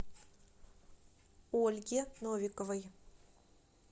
ольге новиковой